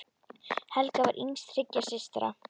Helga var yngst þriggja systra.